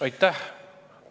Aitäh!